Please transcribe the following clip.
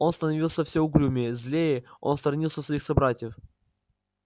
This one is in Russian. он становился всё угрюмее злее он сторонился своих собратьев